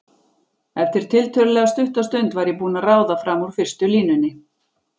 Eftir tiltölulega stutta stund var ég búin að ráða fram úr fyrstu línunni.